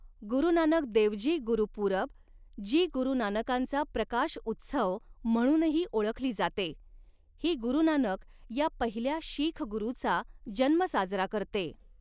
गुरु नानक देवजी गुरुपूरब, जी गुरू नानकांचा प्रकाश उत्सव म्हणूनही ओळखली जाते, ही गुरू नानक या पहिल्या शीख गुरूचा जन्म साजरा करते.